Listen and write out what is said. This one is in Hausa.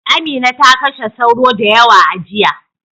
Amina ta kashe sauro da yawa a jiya.